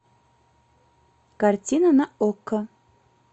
картина на окко